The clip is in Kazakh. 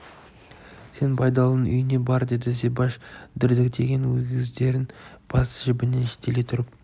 сен байдалының үйіне бар деді зибаш дірдектеген өгіздерін бас жібінен жетелей тұрып